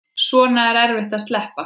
Svona er erfitt að sleppa.